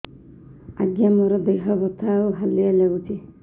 ଆଜ୍ଞା ମୋର ଦେହ ବଥା ଆଉ ହାଲିଆ ଲାଗୁଚି